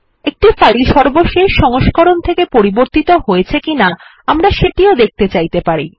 একটি ফাইল সর্বশেষ সংস্করণ থেকে পরিবর্তিত হয়েছে কিনা আমরা সেটিও দেখতে চাইতে পারি